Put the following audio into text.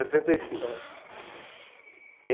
e cinco. Ah. E